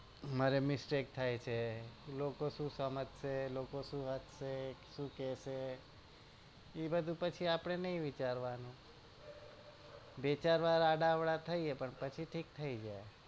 મારે mistake થાય છે લોકો શું સમજસે લોકો શું હસશે શું કેસે એ બધુ પછી આપડે ના વિચારવાનું વિચાર વાર આડાઅવળા થઈએ પણ પછી ઢીક થઇ જાય